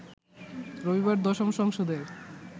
রবিবার দশম সংসদের